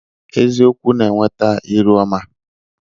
Eziokwu na-eweta ịrụọma